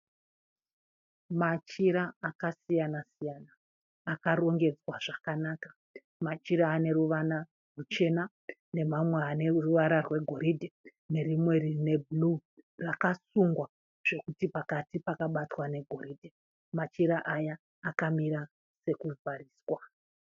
Machira akasiyana siyana akarongedzwa zvakanaka machira ane ruvara ruchena nemamwe ane ruvara rwegoridhe nerimwe rine bhuruu rakasungwa zvekuti pakati pakabatwa negoridhe, machira aya akamira sekuvhariswa.